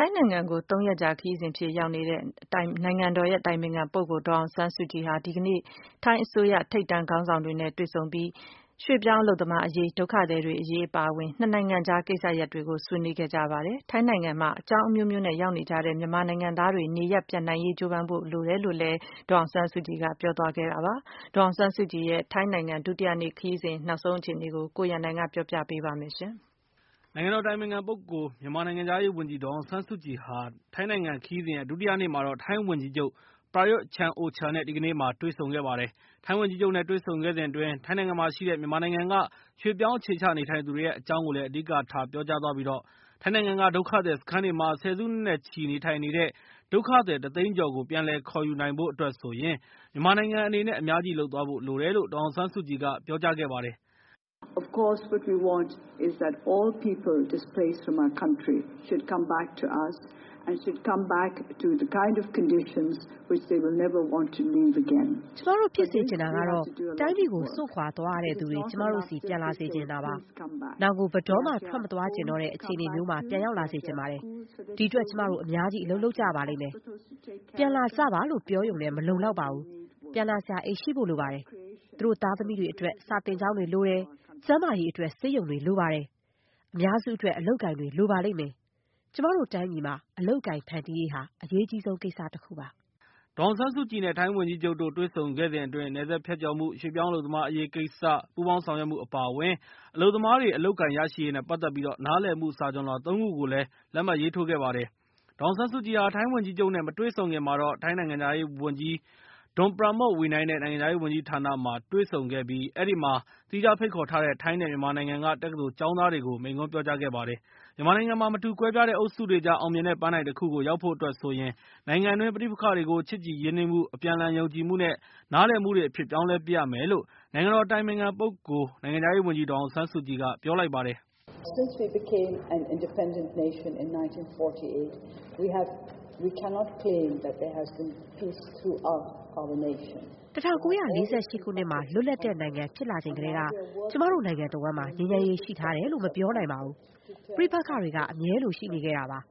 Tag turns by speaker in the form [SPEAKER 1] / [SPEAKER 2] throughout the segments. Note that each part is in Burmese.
[SPEAKER 1] ိုင်းနိုင်ငံကို ၃ ရက်ကြာ ခရီးစဉ်အဖြစ် ရောက်ရှိနေတဲ့ အတိုင်ပင်ခံ ပုဂ္ဂိုလ် ဒေါ်အောင်ဆန်းစုကြည် ဟာ ဒီကနေ့မှာတော့ ထိုင်းအစိုးရ ထိပ်တန်းခေါင်းဆောင်တွေ နဲ့ တွေ့ဆုံပြီး၊ ရွှေ့ပြောင်းအလုပ်သမားရေး၊ ဒုက္ခသည်တွေ အရေး အပါအဝင် ၂ နိုင်ငံကြား ကိစ္စရပ်တွေကို ဆွေးနွေးခဲ့ကြပါတယ်။ ထိုင်းနိုင်ငံမှာ အကြောင်းအမျိုးမျိုး နဲ့ ရောက်နေကြတဲ့ မြန်မာနိုင်ငံ သားတွေ နေရပ်ပြန်နိုင်ရေး ကြိုးပမ်းဖို့ လိုတယ်လို့လည်း ဒေါ်အောင်ဆန်းစုကြည် ကပြောဆိုခဲ့တာပါ။ ဒေါ်အောင်ဆန်းစုကြည် ရဲ့ ထိုင်းနိုင်ငံ ဒုတိယနေ့ ခရီးစဉ် နောက်ဆုံး အခြေအနေကိုတော့ ကိုရန်နိုင် ကပြောပြပေးမှာ ဖြစ်ပါတယ်။
[SPEAKER 2] နိုင်ငံတော်အတိုင်ပင်ခံပုဂ္ဂိုလ် မြန်မာနိုင်ငံခြားရေးဝန်ကြီး ဒေါ်အောင်ဆန်းစုကြည်ဟာ ထိုင်းနိုင်ငံခရီးစဉ်ရဲ့ ဒုတိယနေ့မှာတော့ ထိုင်းဝန်ကြီးချုပ် ပရာရွတ်ချန်အိုချာ နဲ့ ဒီကနေ့မှာ တွေ့ဆုံခဲ့ပါတယ်။ ထိုင်းဝန်ကြီးချုပ်နဲ့ တွေ့ဆုံခဲ့စဉ်အတွင်း ထိုင်းနိုင်ငံမှာရှိတဲ့ မြန်မာနိုင်ငံ က ရွှေ့ပြောင်းအခြေချနေထိုင်သူတွေရဲ့ အကြောင်းကိုလည်း အဓိကထားပြောကြားသွားပြီး ထိုင်းနိုင်ငံက ဒုက္ခသည်စခန်းတွေမှာ ဆယ်စုနှစ်နဲ့ချီပြီး နေထိုင်နေကြတဲ့ ဒုက္ခသည် ၁ သိန်းကျော်ကို ပြန်လည်ခေါ်ယူနိုင်ဖို့ အတွက် ဆိုရင် မြန်မာနိုင်ငံအနေနဲ့ အများကြီးလုပ်သွားဖို့ လိုတယ် လို့ ဒေါ်အောင်ဆန်းစုကြည်က ပြောကြားလိုက်ပါတယ်။ “ကျမတ
[SPEAKER 1] ို့ ဖြစ်စေချင်တာကတော့ တိုင်းပြည်ကို စွန့်ခွာသွားရတဲ့သူတွေ ကျမတို့ဆီ ပြန်လာစေချင်တာပါ။ နောင်ကို ဘယ်တော့မှ ထွက်မသွားချင်တော့တဲ့ အခြေအနေမျိုးမှာ ပြန်ရောက်လာစေချင်ပါတယ်။ ဒီအတွက် ကျမတို့ အများကြီး အလုပ်လုပ်ကြရပါလိမ့်မယ်။ ပြန်လာကြပါလို့ ပြောရုံနဲ့ မလုံလောက်ပါဘူး။ ပြန်လာစရာ အိမ်ရှိဖို့လိုပါတယ်။ သူတို့သားသမီးတွေအတွက် စာသင်ကျောင်းတွေ လိုပါတယ်။ ကျန်းမာရေးအတွက် ဆေးရုံတွေလိုပါတယ်။ အများစုအတွက် အလုပ်အကိုင်တွေ လိုပါလိမ့်မယ်။ ကျမတို့တိုင်းပြည်မှာ အလုပ်အကိုင် ဖန်တီးရေးဟာ အရေးကြီးဆုံးကိစ္စတခုပါ။
[SPEAKER 2] ” ဒေါ်အောင်ဆန်းစုကြည်နဲ့ ထိုင်းဝန်ကြီးချုပ်တို့ တွေ့ဆုံခဲ့စဉ်အတွင်း နယ်စပ်ဖြတ်ကျော်မှု၊ ရွှေ့ပြောင်းအလုပ်သမားအရေးကိစ္စ ပူးပေါင်းဆောင်ရွက်မှု အပါအဝင် အလုပ်သမားတွေအလုပ်အကိုင်ရရှိရေးသဘောတူညီချက် စတဲ့ နားလည်မှု စာချွန်လွှာ ၃ ခုကို လက်မှတ်ရေးထိုးခဲ့ပါတယ်။ ဒေါ်အောင်ဆန်းစုကြည်ဟာ ထိုင်းဝန်ကြီးချုပ်နဲ့ မတွေ့ဆုံခင်ကတော့ ထိုင်းနိုင်ငံခြားရေးဝန်ကြီး ဒွန်ပရာမွတ်ဝီနိုင် ထိုင်းနိုင်ငံခြားရေးဝန်ကြီးဌာန တွေ့ဆုံခဲ့ပြီး၊ အဲဒီမှာ သီးခြား ဖိတ်ခေါ်ထားတဲ့ ထိုင်းနဲ့မြန်မာနိုင်ငံက တက္ကသိုလ် ကျောင်းသားတွေကိုလည်း မိန့်ခွန်းပြောကြားခဲ့ပါတယ်။ မြန်မာနိုင်ငံမှာ မတူကွဲပြားတဲ့ အုပ်စုတွေကြား အောင်မြင်တဲ့ ပန်းတိုင်တခု ကို ရောက်ဖို့ဆိုရင် နိုင်ငံတွင်း ပဋိပက္ခတွေကို ချစ်ကြည် ရင်းနှီးမှု၊ အပြန်အလှန်ယုံကြည်မှုနဲ့ နားလည်မှုတွေအဖြစ် ပြောင်းလဲပစ်ရမယ်လို့ နိုင်ငံတော် အတိုင်ပင်ခံပုဂ္ဂိုလ်နဲ့ နိုင်ငံခြားရေး ဝန်ကြီး ဒေါ်အောင်ဆန်းစုကြည် က ပြောလိုက်ပါတယ်။ “
[SPEAKER 1] ၁၉၄၈ ခုနှစ်မှာ လွတ်လပ်တဲ့နိုင်ငံဖြစ်လာချိန်ကတည်းက ကျမတို့နိုင်ငံတဝန်းမှာ ငြိမ်းချမ်းရေးရှိထားတယ်လို့ မပြောနိုင်ပါဘူး။ ပဋိပက္ခတွေက အမြဲလိုရှိနေခဲ့တာပါပဲ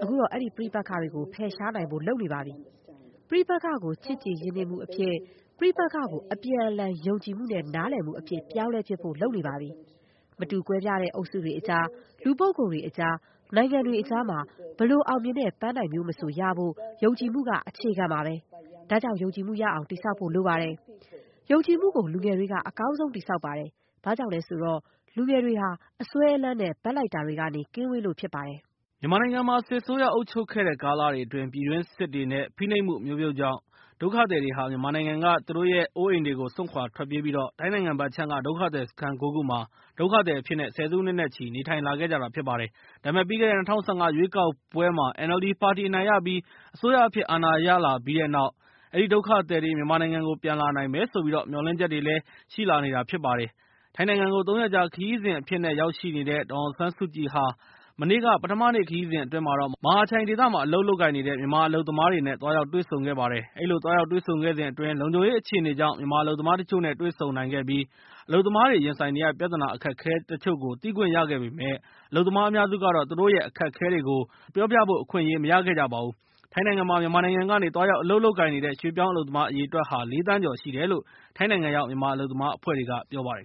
[SPEAKER 1] ။ အခုတော့ အဲဒီပဋိပက္ခတွေကို ဖယ်ရှားနိုင်ဖို့ လုပ်နေပါပြီ။ ပဋိပက္ခကို ချစ်ကြည်ရင်းနှီးမှုအဖြစ်၊ ပဋိပက္ခကို အပြန်အလှန် ယုံကြည်မှုနဲ့ နားလည်မှု အဖြစ် ပြောင်းလဲပစ်ဖို့ လုပ်နေပါပြီ။ မတူကွဲပြားတဲ့ အုပ်စုတွေအကြား၊ လူပုဂ္ဂိုလ်တွေအကြား၊ နိုင်ငံတွေအကြားမှာ ဘယ်လို အောင်မြင်တဲ့ ပန်းတိုင်မျိုးမဆို ရဖို့ ယုံကြည်မှုက အခြေခံ ပါပဲ။ ဒါကြောင့် ယုံကြည်မှုရအောင် တည်ဆောက်ဖို့ လိုပါတယ်။ ယုံကြည်မှုကို လူငယ်တွေက အကောင်းဆုံး တည်ဆောက်ပါ တယ်။ ဘာကြောင့်လဲဆိုတော့ လူငယ်တွေဟာ အစွဲအလန်းနဲ့ ဘက်လိုက်တာတွေကနေ ကင်းဝေးလို့ဖြစ်ပါတယ်။
[SPEAKER 2] ” မြန်မာနိုင်ငံမှာ စစ်အစိုးရအုပ်ချုပ်ခဲ့တဲ့ကာလတွေအတွင်း ပြည်တွင်းစစ်တွေနဲ့ ဖိနှိပ်မှုအမျိုးမျိုးကြောင့်၊မြန်မာနိုင်ငံကနေ မိမိတို့ရဲ့အိုးအိမ်တွေကို စွန့်ခွာထွက်ပြေးပြီး ထိုင်းနိုင်ငံဘက်အခြမ်းက ဒုက္ခသည်စခန်း ၉ ခုမှာ ဒုက္ခသည်အဖြစ်နဲ့ ဆယ်စုနှစ်နဲ့ချီ နေထိုင်လာခဲ့တာဖြစ်ပါတယ်။ ဒါပေမဲ့ ပြီးခဲ့တဲ့ ၂၀၁၅ ရွေးကောက်ပွဲမှာ NLD ပါတီအနိုင်ရပြီး၊ အစိုးရအဖြစ် အာဏာရလာပြီးတဲ့နောက် အဲဒီဒုက္ခသည်တွေ မြန်မာနိုင်ငံကို ပြန်လာနိုင်မယ်ဆိုပြီး မျှော်လင့်ချက်တွေလည်းဖြစ်လာနေတာဖြစ်ပါတယ်။ ထိုင်းနိုင်ငံကို ၃ ရက်ကြာခရီးစဉ်အဖြစ်နဲ့ ရောက်ရှိနေတဲ့ ဒေါ်အောင်ဆန်းစုကြည်ဟာ မနေ့က ပထမနေ့ခရီးစဉ်အတွင်း မဟာချိုင်ဒေသက မြန်မာနိုင်ငံက အလုပ်သမားတွေ ကို သွားရောက်တွေ့ဆုံခဲ့ပါတယ်။ အဲဒီလို သွားရောက်တွေ့ဆုံခဲ့စဉ်အတွင်း လုံခြုံရေး အခြေအနေကြောင့် မြန်မာ အလုပ်သမားတချို့နဲ့ တွေ့ဆုံနိုင်ခဲ့ပြီး၊ အလုပ်သမားတွေရ င်ဆိုင်နေရတဲ့ ပြဿနာအခက်အခဲတချို့ကို သိခွင့်ရခဲ့ပေမယ့်၊ အလုပ်သမား အများစုကတော့ သူတို့ရဲ့ အခက်အခဲတွေ ကို ပြောဖို့အခွင့်အရေးမရခဲ့ကြပါဘူး။ ထိုင်းနိုင်ငံမှာ မြန်မာနိုင်ငံကနေ သွားရောက် အလုပ်လုပ်ကိုင်နေတဲ့ ရွှေ့ပြောင်း အလုပ်သမားအရေအတွက်ဟာ ၄ သန်းကျော်ရှိတယ်လို့ ထိုင်းနိုင်ငံရောက မြန်မာအလုပ်သမားအဖွဲ့တွေက ပြောပါတယ်